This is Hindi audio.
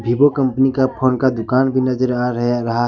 वीवो कंपनी का फोन का दुकान भी नजर आ रहा है।